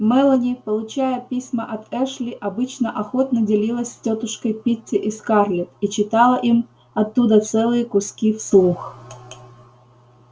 мелани получая письма от эшли обычно охотно делилась с тётушкой питти и скарлетт и читала им оттуда целые куски вслух